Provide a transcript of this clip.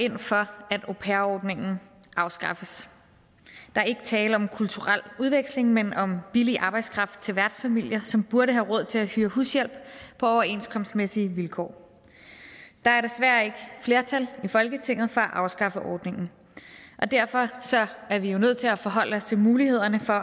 ind for at au pair ordningen afskaffes der er ikke tale om kulturel udveksling men om billig arbejdskraft til værtsfamilier som burde have råd til at hyre hushjælp på overenskomstmæssige vilkår der er desværre ikke flertal i folketinget for at afskaffe ordningen og derfor er vi jo nødt til at forholde os til mulighederne for